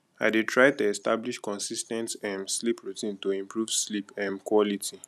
i dey try to establish consis ten t um sleep routine to improve sleep um quality